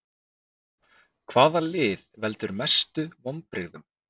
Hvaða lið veldur mestu vonbrigðum?